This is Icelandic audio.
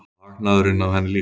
Og hagnaðurinn af henni líka.